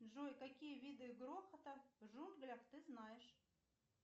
джой какие виды грохота в джунглях ты знаешь